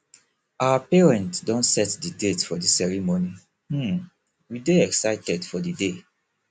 our parents don set the date for the ceremony um we dey excited for di day